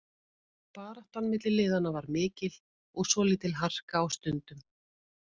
Baráttan milli liðanna var mikil og svolítil harka á stundum.